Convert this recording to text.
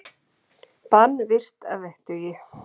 Bann virt að vettugi